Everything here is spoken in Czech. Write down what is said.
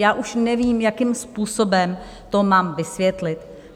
Já už nevím, jakým způsobem to mám vysvětlit.